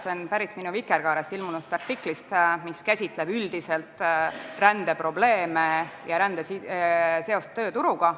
See on pärit minu Vikerkaares ilmunud artiklist, mis käsitleb rändeprobleeme üldiselt ja rände seost tööturuga.